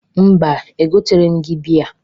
Mba, egoteghiri m gị bịya.